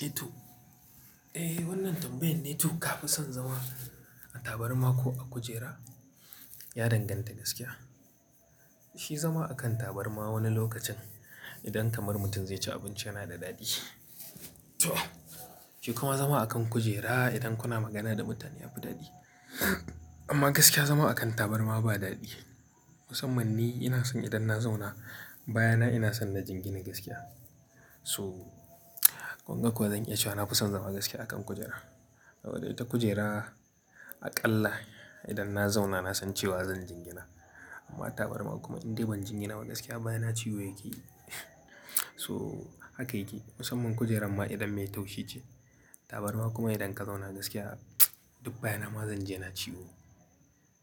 Eh to. Eh wannan tambayan ne to, ka fi son zama a tabarma ko a kujera? Ya danganta gaskiya. Shi zama akan tabarma wani lokacin idan kamar mutum zai ci abinci yana da daɗi. To shi kuma zama a kan kujera idan kuna magana da mutane yafi daɗi. Amma gaskiya zama a kan tabarma ba daɗi. Musamman ni ina son idan na zauna baya na ina son na jingina gaskiya. So kunga kuwa zan iya cewa na fi son zama gaskiya a kan kujera. Saboda ita kujera aƙalla idan na zauna na san cewa zan jingina. Amma tabarma kuma idan bai jingina ba gaskiya bayana ciwo yake. So haka yake musamman kujerar ma idan mai taushi ce. Tabarma kuma idan ka zauna gaskiya duk baya na ma zan ji yana ciwo